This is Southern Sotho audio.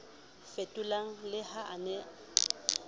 fetolang le ha a ne